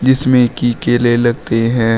जिसमें की केले लगते हैं।